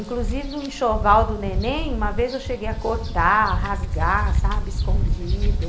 Inclusive, o enxoval do neném, uma vez eu cheguei a cortar, rasgar, sabe, escondido.